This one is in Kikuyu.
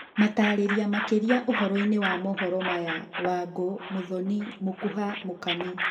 Matarĩria makĩria ũhoroi-nĩ wa mohoro maya, Wangũ, Mũthoni, Mũkuha, Mũkami.